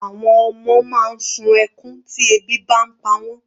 Àwọn ọmọ máa ń sun ẹkún tí ebi bá pa wọ́n.